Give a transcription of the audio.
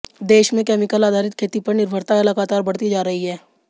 देश में केमिकल आधारित खेती पर निर्भरता लगातार बढ़ती जा रही है